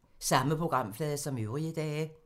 Samme programflade som øvrige dage